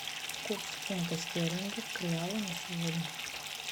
курс фунта стерлингов к реалу на сегодня